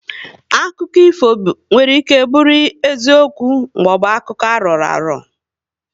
Akụkọ ifo nwere ike bụrụ eziokwu maọbụ akụkọ aroraro